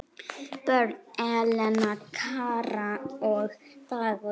Börn: Elena, Kara og Dagur.